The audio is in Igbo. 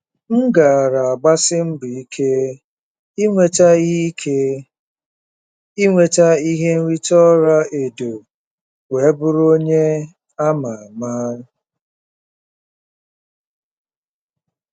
M gaara agbasi mbọ ike inweta ihe ike inweta ihe nrite ọla edo wee bụrụ onye a ma ama.